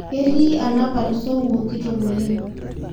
Ketii anapar suwou kitok oleng